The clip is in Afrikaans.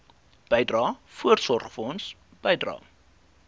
bydrae voorsorgfonds bydrae